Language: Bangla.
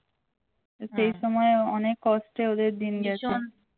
সেই সময় অনেক কষ্টে ওদের দিন গেছে